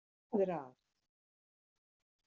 Hvað er að?